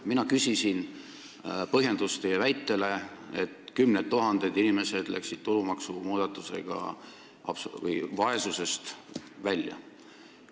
Mina küsisin põhjendust teie väitele, et kümned tuhanded inimesed said tulumaksumuudatusega vaesusest välja.